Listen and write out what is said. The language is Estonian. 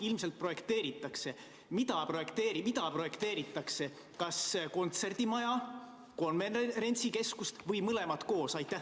Ilmselt projekteeritakse, aga mida projekteeritakse, kas kontserdimaja, konverentsikeskust või mõlemat koos?